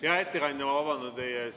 Hea ettekandja, ma vabandan teie ees.